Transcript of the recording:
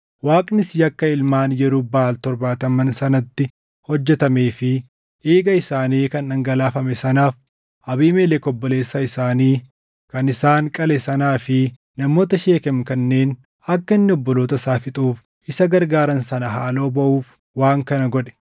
Waaqnis yakka ilmaan Yerub-Baʼaal torbaataman sanatti hojjetamee fi dhiiga isaanii kan dhangalaafame sanaaf, Abiimelek obboleessa isaanii kan isaan qale sanaa fi namoota Sheekem kanneen akka inni obboloota isaa fixuuf isa gargaaran sana haaloo baʼuuf waan kana godhe.